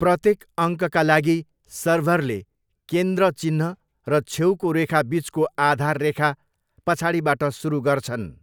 प्रत्येक अङ्कका लागि, सर्भरले केन्द्र चिह्न र छेउको रेखा बिचको आधार रेखा पछाडिबाट सुरु गर्छन्।